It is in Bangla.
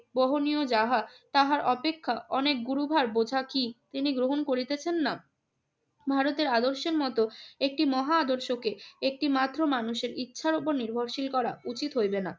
বহনীয় যাহা তাহার অপেক্ষা অনেক গুরুভার বোঝা কি তিনি গ্রহণ করিতেছেন না? ভারতের আদর্শের মতো একটি মহা আদর্শকে একটিমাত্র মানুষের ইচ্ছার ওপর নির্ভরশীল করা উচিত হইবে না।